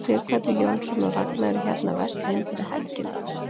Sighvatur Jónsson: Og Ragna er hérna að versla inn fyrir helgina eða hvað?